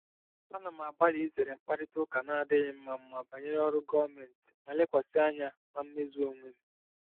Ana m agbalị izere mkparịta ụka na-adịghị mma mma banyere ọrụ gọọmentị ma lekwasị anya na mmezu onwe m.